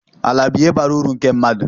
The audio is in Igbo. Ala bụ ihe bara uru nke mmadụ